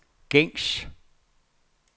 gængs